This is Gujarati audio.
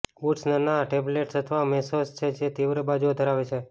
બૂટ્સ નાના ટેબલૅંડ્સ અથવા મેસોસ છે જે તીવ્ર બાજુઓ ધરાવે છે